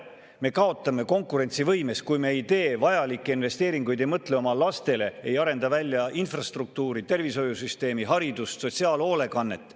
Me kaotame konkurentsivõimes, kui me ei tee vajalikke investeeringuid, ei mõtle oma lastele, ei arenda välja infrastruktuuri, tervishoiusüsteemi, haridus, sotsiaalhoolekannet.